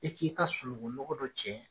E k'i ka sununkun nɔgɔ dɔ cɛ